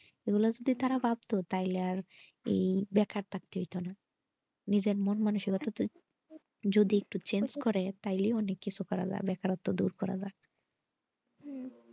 ওই রাস্তায় তারা ভাবতো তাহিলে আর দেখার থাকতো না প্রজন্মের মানুষ গুলা যদিএকটু change করে তাহলেই অনেক কিছু করা যাবে বেকারত্ব দূরকরা যাবে।